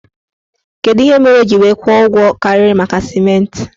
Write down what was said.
Kedụ ihe mere o ji wee kwụọ ụgwọ karịrị maka sịmentị?